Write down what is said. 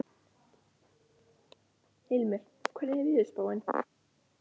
Hilmir, hvernig er veðurspáin?